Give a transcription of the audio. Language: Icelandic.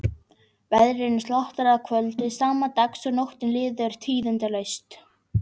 Veðrinu slotar að kvöldi sama dags og nóttin líður tíðindalaust.